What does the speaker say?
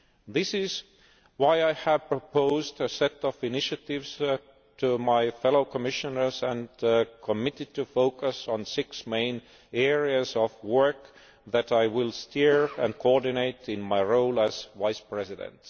This is why I have proposed a set of initiatives to my fellow Commissioners and committed to focus on six main areas of work that I will steer and coordinate in my role as Vice President.